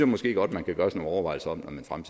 måske godt man kan gøre sig nogle overvejelser